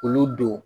Olu don